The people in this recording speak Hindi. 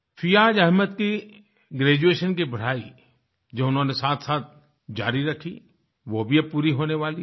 फियाज़ अहमद की ग्रेजुएशन की पढाई जो उन्होंने साथसाथ जारी रखी वह भी अब पूरी होने वाली है